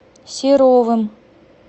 серовым